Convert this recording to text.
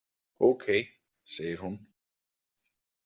Ókei, segir hún.